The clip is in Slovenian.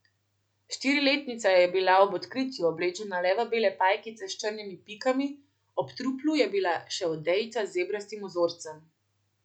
Štiriletnica je bila ob odkritju oblečena le v bele pajkice s črnimi pikami, ob truplu je bila še odejica z zebrastim vzorcem.